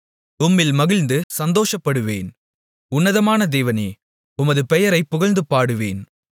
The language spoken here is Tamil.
உம்மில் மகிழ்ந்து சந்தோஷப்படுவேன் உன்னதமான தேவனே உமது பெயரைப் புகழ்ந்து பாடுவேன்